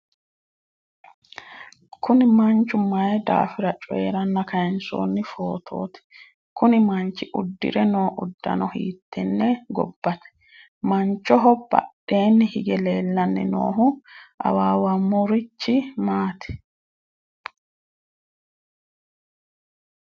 kuni manchu mayi daafira coyiiranna kayiinsoonni footooti? kuni manchi uddire noo uddano hiittenne gobbate? manchoho badheenni hige leellanni noohu awawaamurichi maati?